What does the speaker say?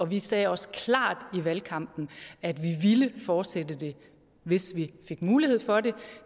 vi sagde også klart i valgkampen at vi ville fortsætte det hvis vi fik mulighed for det